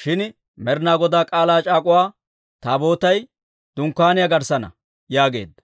shin Med'inaa Godaa K'aalaa c'aak'uwa Taabootay dunkkaaniyaa garssaana» yaageedda.